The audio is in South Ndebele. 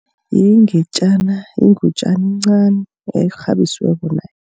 Ingetjana yingutjana encani ekghabisiweko nayo.